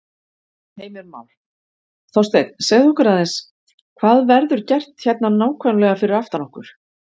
Heimir Már: Þorsteinn, segðu okkur aðeins, hvað verður gert hérna nákvæmlega fyrir aftan okkur?